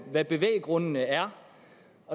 hvad bevæggrundene er